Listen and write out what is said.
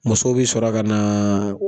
Muso bɛ sɔrɔ ka naaa.